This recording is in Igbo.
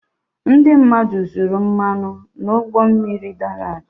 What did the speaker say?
ndị mmadụ zuru mmanụ n'ụgbọ mmiri dara ada